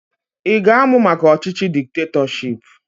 Ị ga-amụ maka ọchịchị diktetọship?